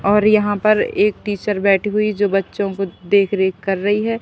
और यहां पर एक टीचर बैठी हुई जो बच्चों को देखरेख कर रही है।